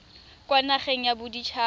kwa nageng ya bodit haba